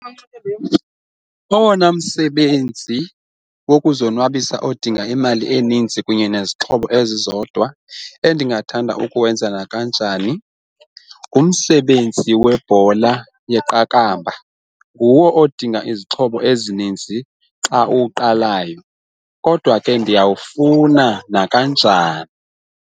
Owona msebenzi wokuzonwabisa odinga imali eninzi kunye nezixhobo ezizodwa endingathanda ukuwenza nakanjani ngumsebenzi webhola yeqakamba, nguwo odinga izixhobo ezininzi xa uqalayo kodwa ke ndiyawufuna nakanjani.